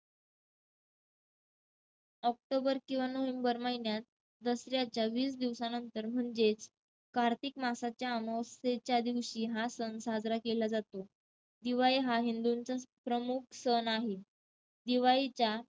October किंवा November महिन्यात दसऱ्याच्या वीस दिवसानंतर म्हणजेच कार्तिक मांसाच्या अमावस्येच्या दिवशी हा सण साजरा केला जातो. दिवाळी हा हिंदूंचा प्रमुख सण आहे. दिवाळीच्या